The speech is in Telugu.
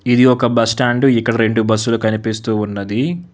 ఇది ఒక బస్టాండు ఇక్క వ్రేండు బస్సులు కనిపిస్తూ ఉన్నది.